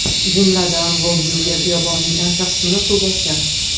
Jumladan, Volyuve xiyobonining ancha qismini suv bosgan.